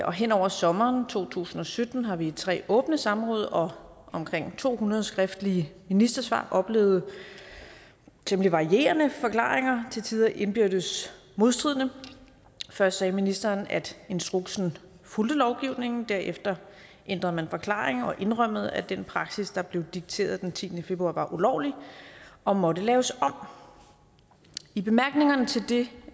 og hen over sommeren to tusind og sytten har vi i tre åbne samråd og omkring to hundrede skriftlige ministersvar oplevet temmelig varierende forklaringer til tider indbyrdes modstridende først sagde ministeren at instruksen fulgte lovgivningen derefter ændrede man forklaring og indrømmede at den praksis der blev dikteret den tiende februar var ulovlig og måtte laves om i bemærkningerne til det